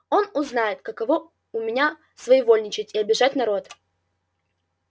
он узнает каково у меня своевольничать и обижать народ